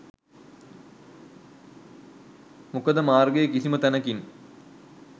මොකද මාර්ගයේ කිසිම තැනකින්